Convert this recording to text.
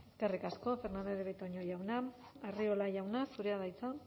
eskerrik asko fernandez de betoño jauna arriola jauna zurea da hitza